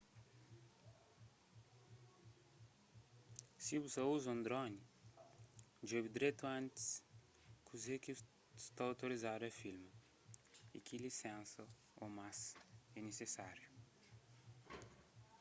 si bu sa ta uza un droni djobe dretu antis kuze ki sta outorizadu a filma y ki lisensa ô más lisensas é nisisáriu